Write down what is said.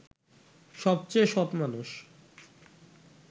সবচেয়ে সৎ মানুষ